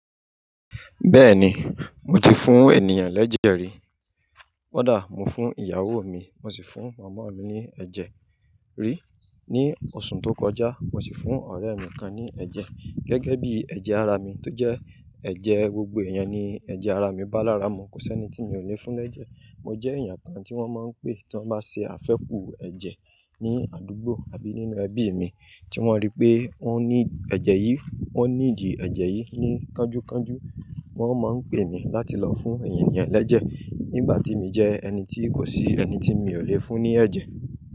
Bẹ́ẹ̀ni, mo ti fún ènìyàn l'ẹ́jẹ̀ rí. Kódà mo fún ìyàwó mi, mo sì fún mọmọ mi ní ẹ́jẹ̀ rí ní oṣù tó kọjá, mo sì fún ọ̀rẹ́ mi kan ní ẹ̀jẹ̀. Gẹ́gẹ́ bí ẹ̀jẹ̀ ara mi tó jẹ́ ẹ̀jẹ̀ gbogbo ẹ̀yán ni ẹ̀jẹ̀ ara mi. Ba lára mu, kò sí ẹni tí mi ò lè fún l'ẹ́jẹ̀. Mo jẹ́ èèyàn kan tí wọ́n mọ ń pè tí wọ́n bá ṣe àfẹ́ku ẹ̀jẹ̀ ní àdúgbò àbí nínú ẹbí mi tí wọ́n rí pé wọn ní ẹ̀jẹ̀ yìí, wọ́n nídi ẹ̀jẹ̀ yìí ní kánjúkánjú. Wọ́n máa ń pè mi láti lọ fún ènìyàn lẹ́jẹ̀ nígbà tí mo jẹ ẹni tí kò sí ẹni tí mi ò lè fún ní ẹ̀jẹ̀.